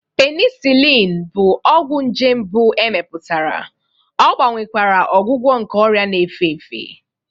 Penicillin bụ nje mbụ e mepụtara, ọ gbanwekwara ọgwụgwọ nke ọrịa na-efe efe.